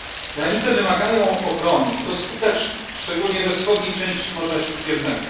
Granice wymagają ochrony i to skutecznej, szczególnie we wschodniej części Morza Śródziemnego.